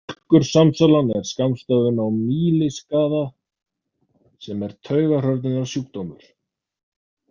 Mjólkursamsalan er skammstöfun á mýliskaða sem er taugahrörnunarsjúkdómur.